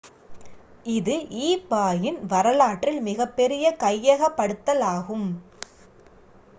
இது ebay-இன் வரலாற்றில் மிகப்பெரிய கையகப்படுத்தலாகும்